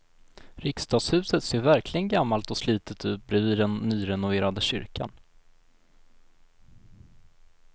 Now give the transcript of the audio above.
Riksdagshuset ser verkligen gammalt och slitet ut bredvid den nyrenoverade kyrkan.